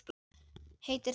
Heitir það ekki